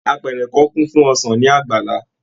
Àpẹrẹ kàn kun fún ọsán ní àgbàlá.